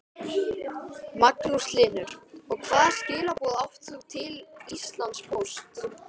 Magnús Hlynur: Og hvaða skilaboð átt þú til Íslandspóst?